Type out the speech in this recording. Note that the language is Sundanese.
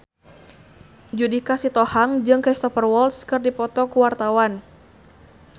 Judika Sitohang jeung Cristhoper Waltz keur dipoto ku wartawan